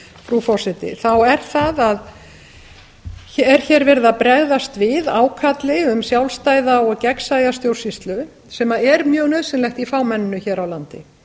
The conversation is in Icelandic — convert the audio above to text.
frú forseti er hér verið að bregðast við ákalli um sjálfstæða og gegnsæja stjórnsýslu sem er mjög nauðsynlegt í fámenninu hér á landi